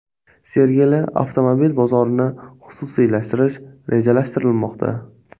Sergeli avtomobil bozorini xususiylashtirish rejalashtirilmoqda.